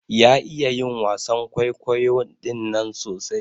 Ya iya yin wasan kwaikwayon ɗinnan sosai.